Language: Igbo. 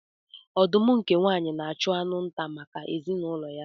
Ọdụm nke nwaanyị na-achụ anụ nta maka ezinụlọ ya.